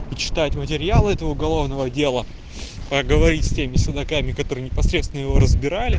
и читать материалы этого уголовного дела поговорить с теми следаками которые непосредственно его разбирали